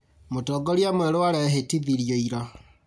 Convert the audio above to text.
Mũtongoria mwerũ arehĩtithirio ira